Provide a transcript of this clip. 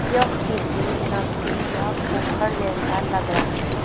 यह किसी नदी या पोखर जैसा लग रहा है।